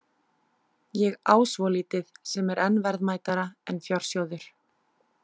Ég á svolítið sem er enn verðmætara en fjársjóður.